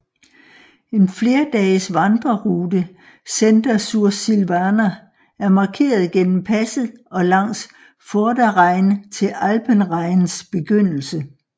En flerdages vandrerute Senda Sursilvana er markeret gennem passet og langs Vorderrhein til Alpenrheins begyndelse